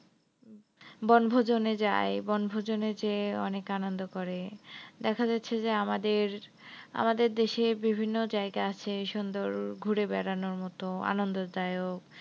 বনভোজনে যায় বনভোজনে যে অনেক আনন্দ করে। দেখা যাচ্ছে যে আমাদের, আমাদের দেশে বিভিন্ন জায়গা আছে সুন্দর ঘুরে বেড়ানোর মত আনন্দ দায়ক।